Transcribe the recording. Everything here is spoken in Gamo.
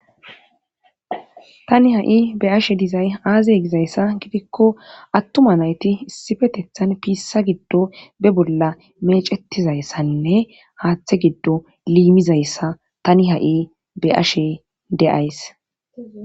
Tani ha'i be ashe dizay aazey gizayssa gidikko attuma nayti issifetethan piissa giddo be bolla mecettizayssainne haaththe giddo liimizayssa tani ha'i be ashe deays.